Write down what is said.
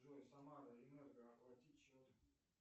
джой самара энерго оплатить счет